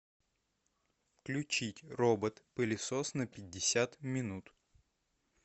включить робот пылесос на пятьдесят минут